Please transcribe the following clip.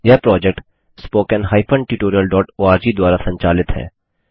यह project httpspoken tutorialorg द्वारा संचालित है